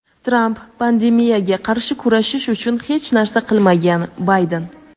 Tramp pandemiyaga qarshi kurashish uchun hech narsa qilmagan - Bayden.